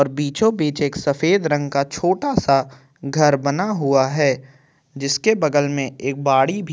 और बीचो बीच एक सफ़ेद रंग का छोटा सा घर बना हुआ है जिसके बगल में एक बाड़ी भी --